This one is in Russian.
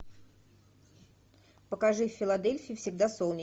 покажи в филадельфии всегда солнечно